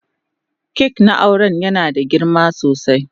kak na auren yana da girma sosai.